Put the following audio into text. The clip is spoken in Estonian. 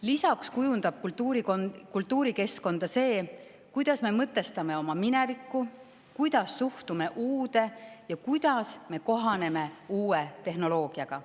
Lisaks kujundab kultuurikeskkonda see, kuidas me mõtestame oma minevikku, kuidas suhtume uude ja kuidas kohaneme uue tehnoloogiaga.